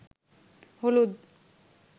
হলুদ